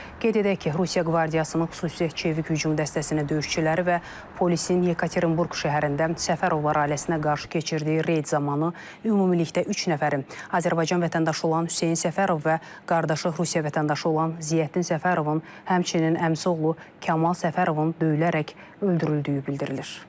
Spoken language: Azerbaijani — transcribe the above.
Qeyd edək ki, Rusiya Qvardiyasının xüsusi çevik hücum dəstəsinin döyüşçüləri və polisin Yekaterinburq şəhərində Səfərovlar ailəsinə qarşı keçirdiyi reyd zamanı ümumilikdə üç nəfərin, Azərbaycan vətəndaşı olan Hüseyn Səfərov və qardaşı Rusiya vətəndaşı olan Ziyaəddin Səfərovun, həmçinin əmisi oğlu Kamal Səfərovun döyülərək öldürüldüyü bildirilir.